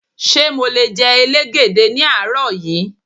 Ṣé mo le jẹ elégède ní àárọ̀ yí?